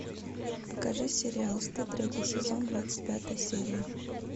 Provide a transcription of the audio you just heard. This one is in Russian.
покажи сериал стыд третий сезон двадцать пятая серия